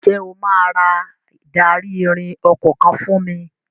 Ǹjẹ́ o máa ra ìdarí-ìrìn ọkọ̀ kan fún mi?